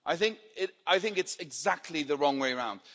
I think it's exactly the wrong way round.